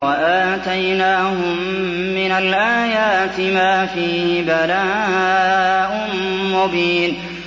وَآتَيْنَاهُم مِّنَ الْآيَاتِ مَا فِيهِ بَلَاءٌ مُّبِينٌ